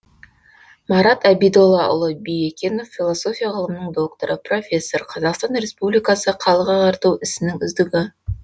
марат әбидоллаұлы биекенов философия ғылымының докторы профессор қазақстан республикасы халық ағарту ісінің үздігі